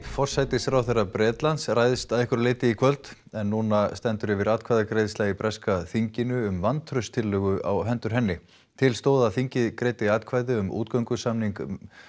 forsætisráðherra Bretlands ræðst að einhverju leyti í kvöld en núna stendur yfir atkvæðagreiðsla í breska þinginu um vantrausttillögu á hendur henni til stóð að þingið greiddi atkvæði um útgöngusamning